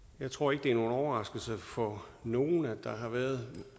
jeg tror ikke det er nogen overraskelse for nogen at der har været